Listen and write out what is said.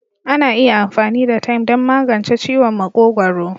Ana iya amfani da "thyme" don magance ciwon makogwaro.